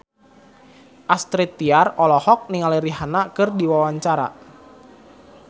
Astrid Tiar olohok ningali Rihanna keur diwawancara